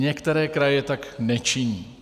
Některé kraje tak nečiní.